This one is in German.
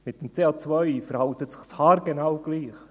Mit dem CO verhält es sich haargenau gleich.